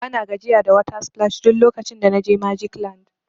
Bana gajiya da water splash duk lokacin da na je magic land.